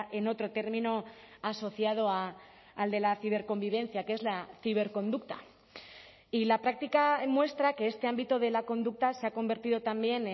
en otro término asociado al de la ciberconvivencia que es la ciberconducta y la práctica muestra que este ámbito de la conducta se ha convertido también